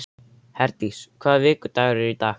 Herdís, hvaða vikudagur er í dag?